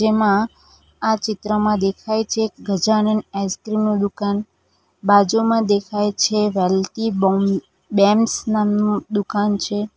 માં આ ચિત્રમાં દેખાય છે ગજાનંદ આઈસ્ક્રીમ નુ દુકાન બાજુમાં દેખાય છે વેલ્ટી બોમ્ બેમ્સ નામનું દુકાન છે.